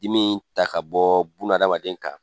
Dimi ta ka bɔ bunahadamaden kan